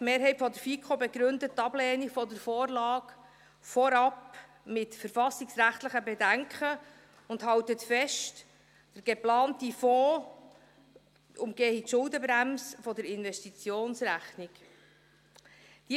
Die Mehrheit der FiKo begründet die Ablehnung der Vorlage vorwiegend mit verfassungsrechtlichen Bedenken und hält fest, dass der geplante Fonds die Schuldenbremse der Investitionsrechnung umgehe.